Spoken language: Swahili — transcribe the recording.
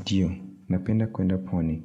Ndio, napenda kuenda pwani.